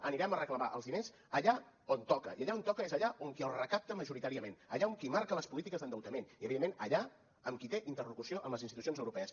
anirem a reclamar els diners allà on toca i allà on toca és allà on qui els recapta majoritàriament allà on qui marca les polítiques d’endeutament i evidentment allà on qui té interlocució amb les institucions europees